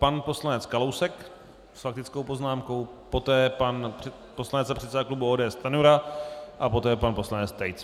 Pan poslanec Kalousek s faktickou poznámkou, poté pan poslanec a předseda klubu ODS Stanjura a poté pan poslanec Tejc.